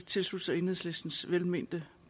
tilslutte sig enhedslistens velmente